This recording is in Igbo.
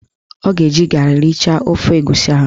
Ọ ga-eji garị richaa ofe egusi ahụ